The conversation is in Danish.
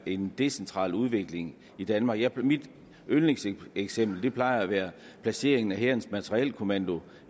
en decentral udvikling i danmark mit yndlingseksempel plejer at være placeringena af hærens materielkommando